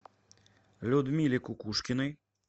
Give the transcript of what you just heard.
людмиле кукушкиной